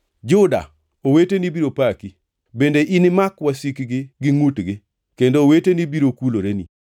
“Juda, oweteni biro paki; bende inimak wasiki gi ngʼutgi, kendo oweteni biro kuloreni.